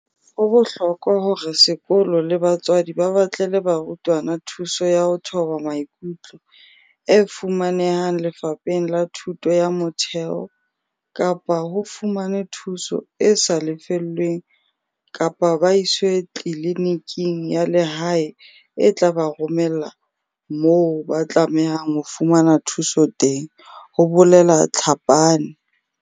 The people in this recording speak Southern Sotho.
"Ho bohlokwa hore sekolo le batswadi ba batlele barutwana thuso ya ho thoba maikutlo, e fumanehang Lefapheng la Thuto ya Motheo, kapa ho fumanwe thuso e sa lefellweng kapa ba iswe tliliniking ya lehae e tla ba romela moo ba tlamehang ho fumana thuso teng," ho bolela Tlhapane.